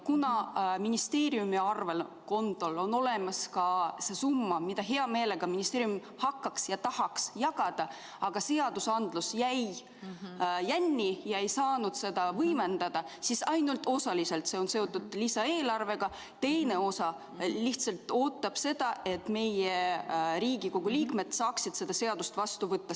Kuna ministeeriumi arvelduskontol on olemas see summa, mida ministeerium hea meelega tahaks hakata jagama, aga seadus jäi jänni ega saanud seda võimendada, siis on see ainult osaliselt seotud lisaeelarvega, teine osa lihtsalt ootab seda, et meie, Riigikogu liikmed saaksime selle seaduse vastu võetud.